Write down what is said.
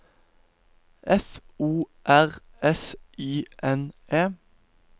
F O R S Y N E